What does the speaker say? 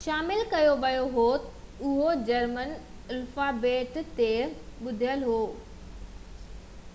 اهو German alphabet تي ٻڌل هو ۽ هڪ اکر õ/õ شامل ڪيو ويو هو